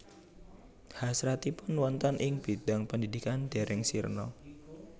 Hasratipun wonten ing bidang pendidikan dereng sirna